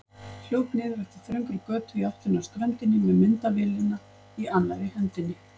Hljóp niður eftir þröngri götu í áttina að ströndinni með myndavélina í annarri hendinni.